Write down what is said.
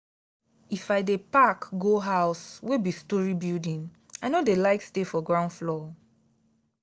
if i dey pack go house wey be storey building i no dey like stay for ground floor.